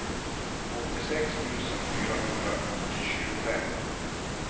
åttiosex tusen fyrahundratjugofem